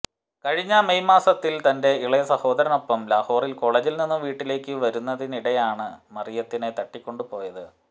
കഴിഞ്ഞ മെയ് മാസത്തിൽ തന്റെ ഇളയ സഹോദരനൊപ്പം ലാഹോറിലെ കോളജിൽ നിന്നും വീട്ടിലേക്ക് വരുന്നതിനിടെയാണ് മറിയത്തിനെ തട്ടിക്കൊണ്ട് പോയത്